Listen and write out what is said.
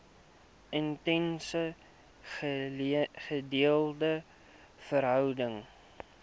intense gedeelde verhouding